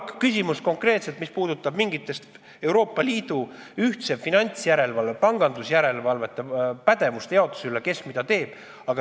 Nüüd küsimus, mis puudutab mingi Euroopa Liidu ühtse finantsjärelevalve, pangandusjärelevalve pädevuste jaotust – kes mida teeb.